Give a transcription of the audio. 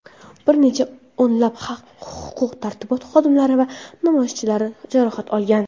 bir necha o‘nlab huquq-tartibot xodimlari va namoyishchilar jarohat olgan.